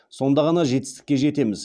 сонда ғана жетістікке жетеміз